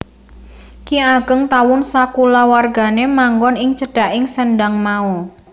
Ki Ageng Tawun sakulawargané manggon ing cedhaking sendhang mau